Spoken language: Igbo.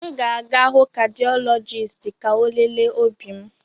M ga-aga hụ kadịọlọjisti ka ọ lelee obi m.